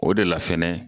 O de la fɛnɛ